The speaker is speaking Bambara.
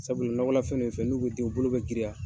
Sabula nɔgɔla fɛn fɛn nun ye fɛn n'u bi den, u bolo bi girinya.